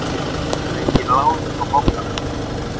Þetta eru engin lán frá bankanum